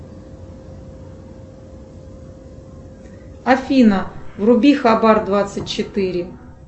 афина вруби хабар двадцать четыре